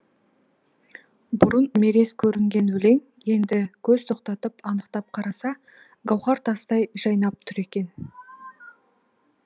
бұрын мерез көрінген өлең енді көз тоқтатып анықтап қараса гауһар тастай жайнап тұр екен